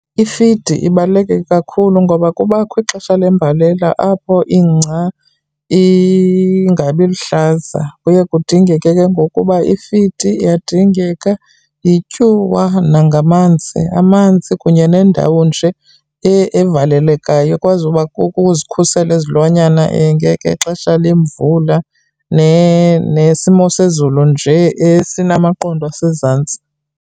Ifidi ibaluleke kakhulu ngoba kubakho ixesha lembalela apho ingca ingabi luhlaza, kuye kudingeke ke ngoku uba ifidi iyadingeka, yityuwa nangamanzi. Amanzi kunye nendawo nje evalelekayo ekwazi uba ukuzikhusela izilwanyana ngexesha lemvula nesimo sezulu nje esinamaqondo asezantsi.